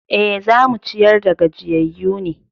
E, za mu ciyar da gajiyayyu ne.